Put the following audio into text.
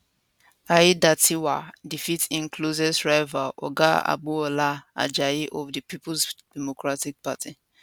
aiyedatiwa defeat im closest rival oga agboola ajayi of di peoples democratic party